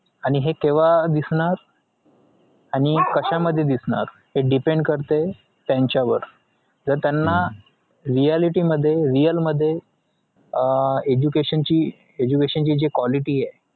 आणि हे केव्हा दिसणार आणि कशामध्ये दिसणार हे depend करतंय त्यांच्यावर जर त्यांना reality मध्ये real मध्ये अह education ची education ची जी quality ए